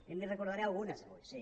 i n’hi recordaré algunes avui sí